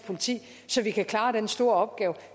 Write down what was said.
politi så vi kan klare den store opgave